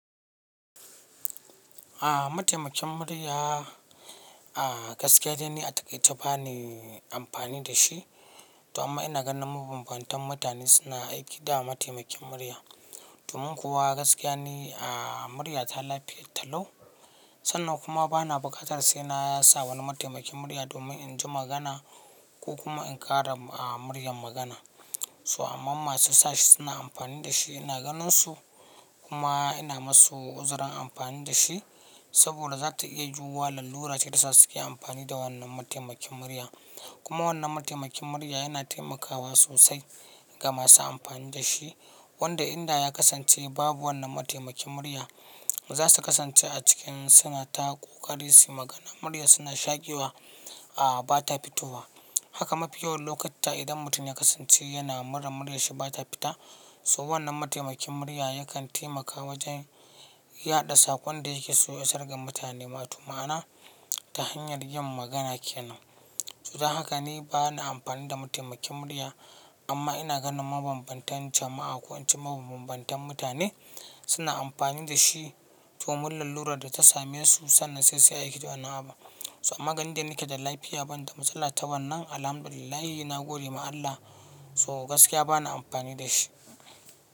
A'a, mataimakin murya, a'a gaskiya dai ne a taƙi ta bani amfani da shi. Zuama ina ganin mabambantan mutane suna aiki da mataimakin murya. Domin kuwa gaskiya ne a'a murya ta lafiya ta lau. Sannan kuma ba na buƙatar sai na ya sa wani mataimakin murya domin in ji magana ko kuma in ƙara a muryar magana. So amma masu sashi suna amfani da shi ina ganin su kuma ina masu uzurin amfani da shi. Saboda za ta iya juwa lalura ce ta sa suke amfani da wannan mataimakin murya. Kuma wannan mataimakin murya yana taimakawa sosai ga masu amfani da shi. Wanda inda ya kasance babu wannan mataimakin murya, za su kasance a cikin sana'a ko ƙari su magana muryar suna shaƙiwa a'a ba ta fitowa. Haka mafi yawan lokaci idan mutum ya kasance yana muran muryar shi ba ta fita, so wannan mataimakin murya yakan taimaka wajen yaɗa sakon da yake so ya sarga mutane ma. Tuma ana ta hanyar yin magana kenan. Zu da haka ni ba na amfani da mataimakin murya, amma ina ganin mabambantan jama'a ko an ce mabambantan mutane suna amfani da shi. Domin lalurar da ta same su sannan saisai a aiki da wani abu. So amma gani da nike da lafiya ban da matsala ta wannan, alhamdulillahi ina gode ma Allah. So gaskiya ba na amfani da shi.